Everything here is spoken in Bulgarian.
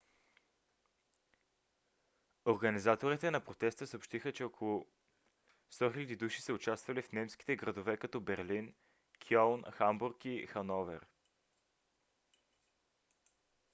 организаторите на протеста съобщиха че около 100 000 души са участвали в немските градове като берлин кьолн хамбург и хановер